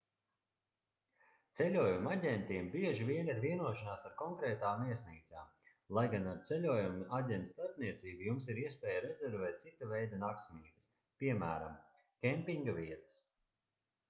ceļojumu aģentiem bieži vien ir vienošanās ar konkrētām viesnīcām lai gan ar ceļojumu aģenta starpniecību jums ir iespēja rezervēt cita veida naktsmītnes piemēram kempinga vietas